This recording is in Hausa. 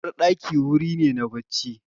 Uwarɗaki wuri ne na bacci.